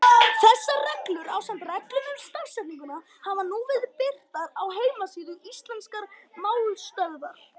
Þessar reglur, ásamt reglum um stafsetningu, hafa nú verið birtar á heimasíðu Íslenskrar málstöðvar.